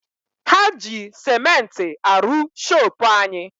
Ha ji sementi aru shoopu anyi.